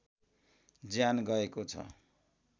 ज्यान गएको छ